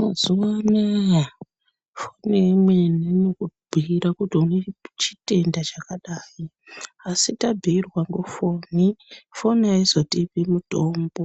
Mazuva anaya foni imweni inokubhuyira kuti une chitenda chakadai, asi tabhuyirwa ngofoni, foni haizotipi mutombo.